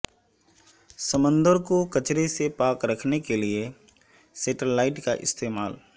سمندر کو کچرے سے پاک رکھنے کے لیے سیٹلائٹ کا استعمال